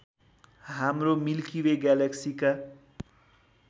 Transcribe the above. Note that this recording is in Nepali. हाम्रो मिल्की वे ग्यालेक्सीका